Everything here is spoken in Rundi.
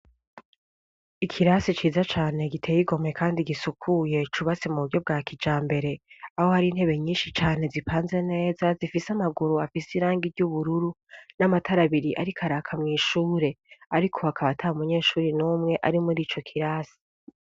Ikirasi ciza cane giteye igomwe kandi gisukuye cubatsi m'uburyo bwa kijambere aho hari intebe nyinshi cane zipanze neza zifise amaguru afise irangi ry'ubururu n'amatar'abiri ariko araka mw'ishure ariko hakaba atamunyeshure n'umwe ari mur'icokirasi.